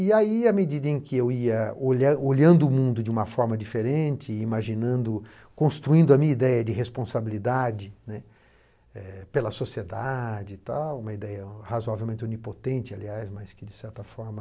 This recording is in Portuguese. E aí, à medida em que eu ia olha olhando o mundo de uma forma diferente, imaginando, construindo a minha ideia de responsabilidade né pela sociedade e tal, uma ideia razoavelmente onipotente, aliás, mas que, de certa forma,